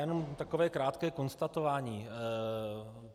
Jenom takové krátké konstatování.